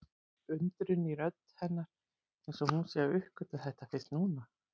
Undrun í rödd hennar eins og hún sé að uppgötva þetta fyrst nú.